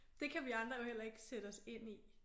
Det kan vi andre jo heller ikke sætte os ind i